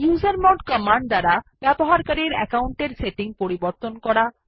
usermod command দ্বারা user account settings পরিবর্তন করা